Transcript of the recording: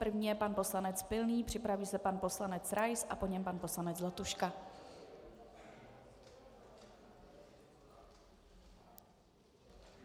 První je pan poslanec Pilný, připraví se pan poslanec Rais a po něm pan poslanec Zlatuška.